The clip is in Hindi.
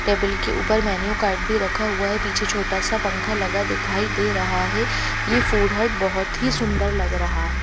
टेबल के ऊपर मेन्यू कार्ड भी रखा हुआ है पीछे छोटा सा पंखा लगा दिखाई दे रहा है यह फूड हट बहुत ही सुंदर लग रहा है.